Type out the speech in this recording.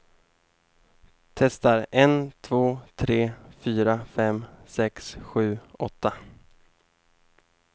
Testar en två tre fyra fem sex sju åtta.